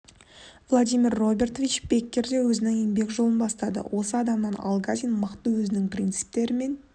владимир робертович беккер де өзінің еңбек жолын бастады осы адамнан алгазин мықты өзінің принциптері мен